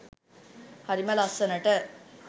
හරිම ලස්සනට